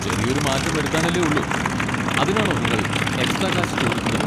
ചെറിയൊരു മാറ്റം വരുത്താനല്ലേ ഉള്ളൂ, അതിനാണോ നിങ്ങൾ എക്സ്ട്രാ കാശ് ചോദിക്കുന്നത്?